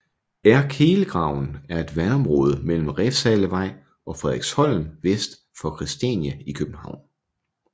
Erdkehlgraven et et vandområde mellem Refshalevej og Frederiksholm vest for Christiania i København